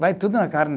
Vai tudo na carne.